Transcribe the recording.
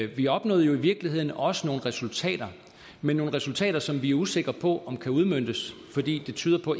vi opnåede jo i virkeligheden også nogle resultater men nogle resultater som vi er usikre på om kan udmøntes fordi det tyder på